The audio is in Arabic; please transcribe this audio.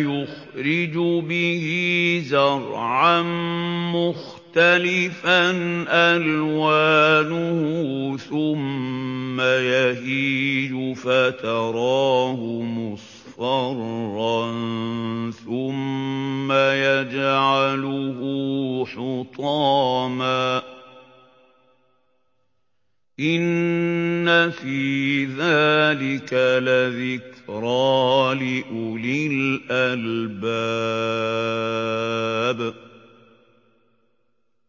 يُخْرِجُ بِهِ زَرْعًا مُّخْتَلِفًا أَلْوَانُهُ ثُمَّ يَهِيجُ فَتَرَاهُ مُصْفَرًّا ثُمَّ يَجْعَلُهُ حُطَامًا ۚ إِنَّ فِي ذَٰلِكَ لَذِكْرَىٰ لِأُولِي الْأَلْبَابِ